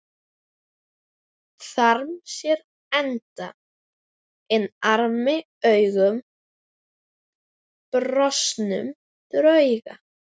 Þarm sér enda inn armi augum brostnum drauga.